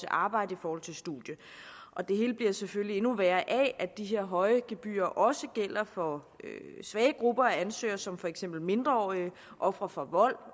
arbejde og studie og det hele bliver selvfølgelig endnu værre af at de her høje gebyrer også gælder for svage grupper af ansøgere som for eksempel mindreårige ofre for vold og